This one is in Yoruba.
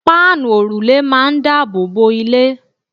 páànù òrùlé máà ń daboobo ilé